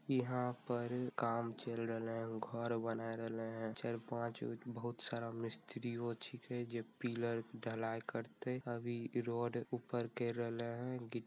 यहां पर काम चल रहले हेय घर बनाए रहले चार पांच बहुत सारा मिस्त्री वो छींके जे पिलर ढलाई करते अभी रड ऊपर केर रहले हेय गि --